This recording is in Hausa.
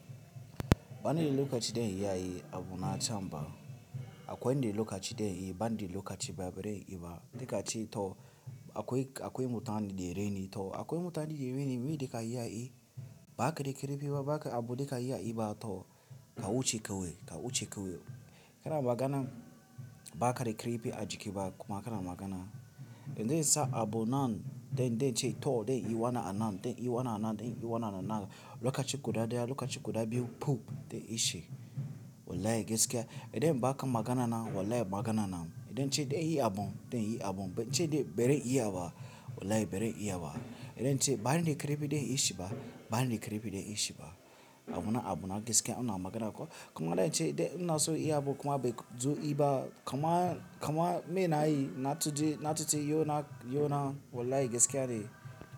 Bani da lokaci don yayi abun na chamba. Akwen de lokaci den yi, bani de lokaci ba bere yi ba. Dika ce to akwai, akwai mutanen de reni to akwai mutanen de reni mi dika yayi ba kada karefi ba, ba abu dika yayi ba to ka wuce ka wai, ka wuce ka wai. Kana magana ba kada karefi ajiki ba kuma kana magana. Idan sa abu nan den, den ce to den yi wana a nan den yi wana a nan den yi wana a nan lokaci kuda daya lokaci kuda biyu pup den ishe. Wallahi gaskiya. Idan baka magana nan wallahi magana nan. Idan ce de yi abu den yi abu. Ce de bere yi ya ba wallahi bere iya ba. Idan ce bani de karefi de inyi shi ba, bani de karepi da inyi shi ba. Abuna abu na gaskiya una magana kuwa. Kuma idan ce de una so yi abu kuma bai zo yi ba kuma, kuma me na yi na tuji, na tuji yona, yona wallahi gaskiya ne.